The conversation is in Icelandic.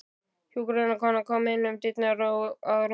Hjúkrunarkona kom inn um dyrnar og að rúminu.